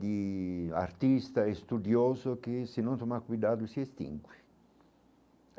de artista estudioso que, se não tomar cuidado, se extingue.